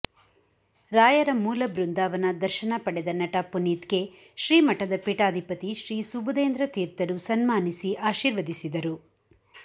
ರಾಯರ ಮೂಲ ಬೃಂದಾವನ ದರ್ಶನ ಪಡೆದ ನಟ ಪುನಿತ್ಗೆ ಶ್ರೀಮಠದ ಪೀಠಾಧಿಪತಿ ಶ್ರೀ ಸುಭುದೇಂದ್ರ ತೀರ್ಥರು ಸನ್ಮಾನಿಸಿ ಆಶೀರ್ವದಿಸಿದರು